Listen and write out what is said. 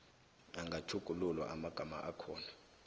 angatjhugululwa amagama akhona